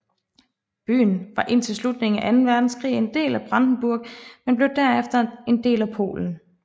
Byen var indtil slutningen af anden verdenskrig en del af Brandenburg men blev derefter en del af Polen